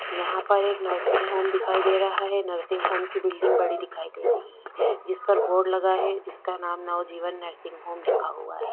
यहाँ पर एक नर्सिंग होम दिखाई दे रहा है नर्सिंग होम की बिल्डिंग बड़ी है जिस पे बोर्ड लगा है जिसका नाम नवजीवन नर्सिंग होम लिखा हुआ हैं।